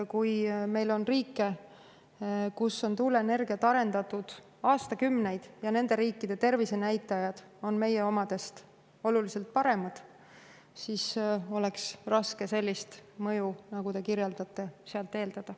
Kui meil on riike, kus on tuuleenergiat arendatud aastakümneid, ja nende riikide tervisenäitajad on meie omadest oluliselt paremad, siis oleks raske sellist mõju, nagu te kirjeldate, sealt eeldada.